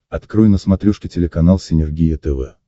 открой на смотрешке телеканал синергия тв